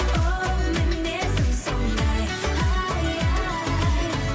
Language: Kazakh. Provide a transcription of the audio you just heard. оу мінезім сондай ай ай